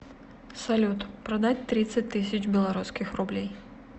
салют продать тридцать тысяч белорусских рублей